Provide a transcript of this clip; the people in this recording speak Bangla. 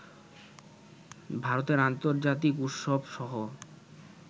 ভারতের আন্তর্জাতিক উৎসবসহ